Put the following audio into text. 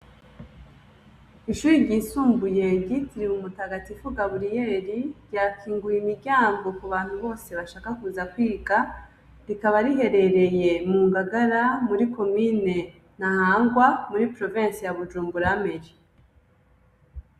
Ishuri ryisumbuye ryitiriwe mumutakatifu gaburiyeli ryakinguye imiryango ku bantu bose bashaka kuza kwiga rikaba riherereye mu ngagara muri komine na hangwa muri provinsi ya bujumburameji.